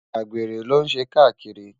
àgbèrè ló n ṣé kakírì